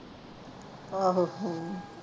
ਆਹੋ ਹਮ